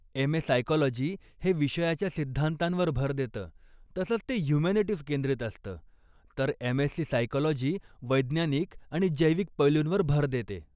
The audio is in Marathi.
एम.ए. सायकॉलजी हे विषयाच्या सिद्धांतांवर भर देतं तसंच ते हयूमॅनिटीज केंद्रित असतं तर एम.एससी सायकॉलजी वैज्ञानिक आणि जैविक पैलूंवर भर देते.